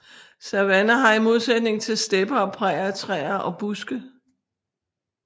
Savanner har i modsætning til stepper og prærier træer og buske